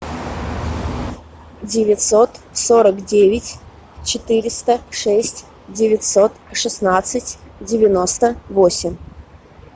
девятьсот сорок девять четыреста шесть девятьсот шестнадцать девяносто восемь